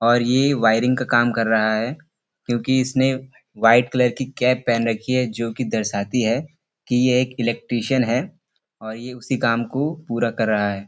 और ये वायरिन्ग का काम कर रहा है क्यूंकि इसने वाइट कलर की कैप पहेन रखी है जोकि दर्शाती है की यह एक इलेक्ट्रिशन है और ये उसी काम को पूरा कर रहा है।